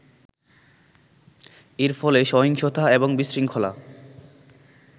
এর ফলে সহিংসতা এবং বিশৃঙ্খলা